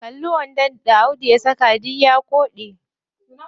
Kalli wandon da audu ya saka, duk ya koɗe.